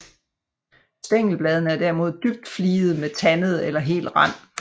Stængelbladene er derimod dybt fligede med tandet eller hel rand